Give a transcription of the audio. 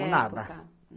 nada.